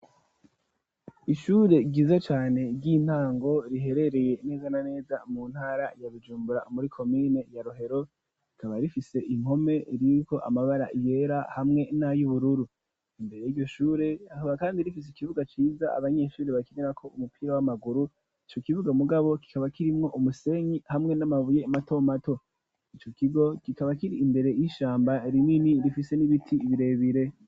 Ishure ryiza cane ry'intango, riherereye neza na neza mu ntara ya Bujumbura muri komine ya Rohero, rikaba rifise impome ririko amabara yera hamwe n'ay'ubururu, imbere y'ishure rikaba kandi rifise ikibuga ciza abanyeshuri bakinirako umupira w'amaguru, ico kibuga mugabo kikaba kirimwo umusenyi hamwe n'amabuye mato mato, ico kigo kikaba kiri imbere y'ishamba rinini rifise n'ibiti birebire.